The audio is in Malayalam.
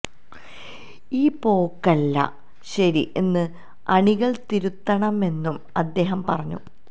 ഈ പോക്കല്ല ശരി എന്ന് അണികൾ തിരുത്തണമെന്നും അദ്ദേഹം പറഞ്ഞു